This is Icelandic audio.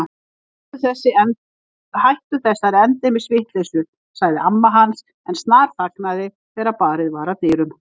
Hættu þessari endemis vitleysu sagði amma hans en snarþagnaði þegar barið var að dyrum.